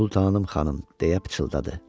Sultanım xanım, deyə pıçıldadı.